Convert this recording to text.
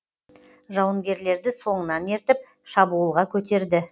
жауынгерлерді соңынан ертіп шабуылға көтерді